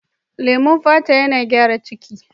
Lemon fata yana gyara ciki.